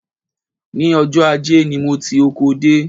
Ní ọjọ́ ajé ni mo ti oko dé